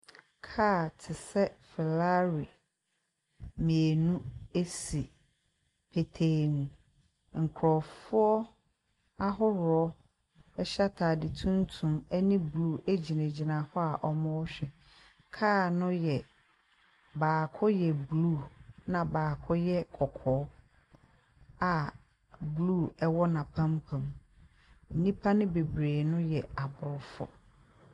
Kaa te sɛ Ferrarri mmienu si petee mu. Nkurɔfoɔ ahoroɔ hyɛ atade tuntum ne blue gyinagyina hɔ a wɔrehwɛ. Kaa no yɛ baako yɛ blue, ɛnna baako yɛ kɔkɔɔ a blue wɔ n'apampam. Nnipa no bebree no yɛ aborɔfo.